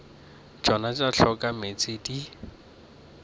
tšona tša hloka meetse di